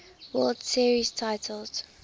world series titles